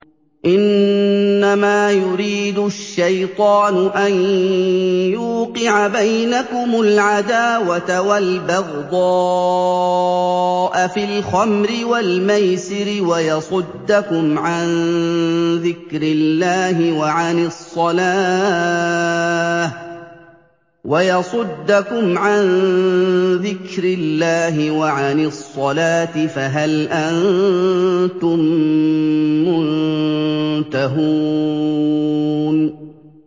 إِنَّمَا يُرِيدُ الشَّيْطَانُ أَن يُوقِعَ بَيْنَكُمُ الْعَدَاوَةَ وَالْبَغْضَاءَ فِي الْخَمْرِ وَالْمَيْسِرِ وَيَصُدَّكُمْ عَن ذِكْرِ اللَّهِ وَعَنِ الصَّلَاةِ ۖ فَهَلْ أَنتُم مُّنتَهُونَ